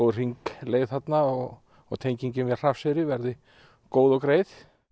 hringleið og tenging við Hrafnseyri verði góð og greið